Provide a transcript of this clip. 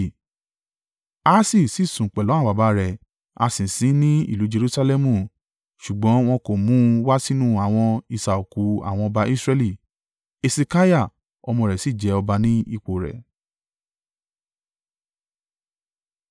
Ahasi sì sùn pẹ̀lú àwọn baba rẹ̀ a sì sin ín ní ìlú Jerusalẹmu ṣùgbọ́n wọn kò mú un wá sínú àwọn isà òkú àwọn ọba Israẹli. Hesekiah ọmọ rẹ sì jẹ ọba ní ipò rẹ̀.